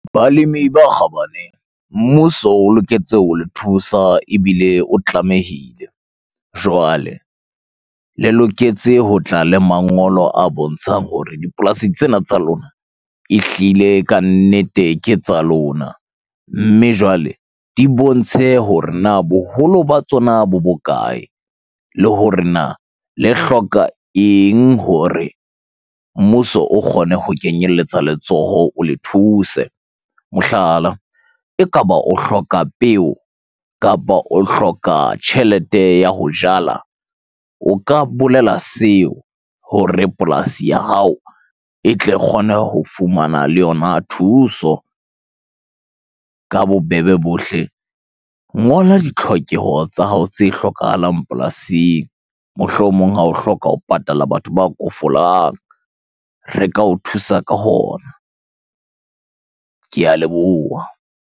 Balemi ba kgabane. Mmuso o loketse ho le thusa ebile o tlamehile. Jwale le loketse ho tla le mangolo a bontshang hore dipolasi tsena tsa lona, ehlile kannete ke tsa lona. Mme jwale, di bontshe hore na boholo ba tsona bo bokae? Le hore na le hloka eng hore mmuso o kgone ho kenyeletsa letsoho, o le thuse Mohlala, ekaba o hloka peo kapa o hloka tjhelete ya ho jala. O ka bolela seo hore polasi ya hao e tle kgone ho fumana le yona thuso. Ka bobebe bohle, ngola ditlhokeho tsa hao tse hlokahalang polasing. Mohlomong ha o hloka ho patala batho ba kofolang, re ka o thusa ka hona. Ke a leboha.